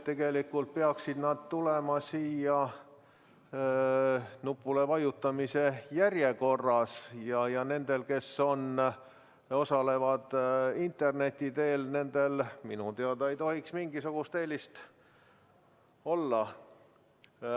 Tegelikult peaksid nimed tulema nupule vajutamise järjekorras ja nendel, kes osalevad interneti teel, ei tohiks minu teada mingisugust eelist olla.